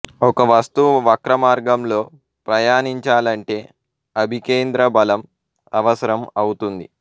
ఒక వస్తువు వక్రమార్గంలో ప్రయాణించాలంటే అభికేంద్ర బలం అవసరం అవుతుంది